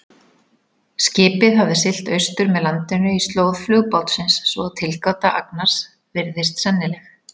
Skipið hafði siglt austur með landinu í slóð flugbátsins, svo að tilgáta Agnars virðist sennileg.